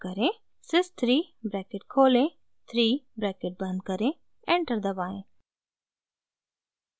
sys 3 bracket खोलें 3 bracket बंद करें एंटर दबाएं